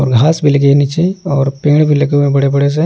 और घास भी लगे हैं नीचे और पेंड़ भी लगे हुए हैं बड़े-बड़े से।